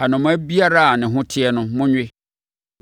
Anomaa biara a ne ho te no, monwe.